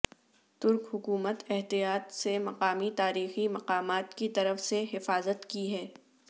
ترک حکومت احتیاط سے مقامی تاریخی مقامات کی طرف سے حفاظت کی ہے